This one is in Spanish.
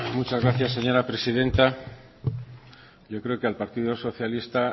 muchas gracias señora presidenta yo creo que el partido socialista